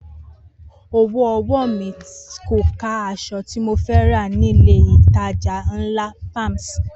Owó ọwọ́ mi kò ká aṣọ tí mo fẹ́ rà nílé-ìtajà ńlá Palms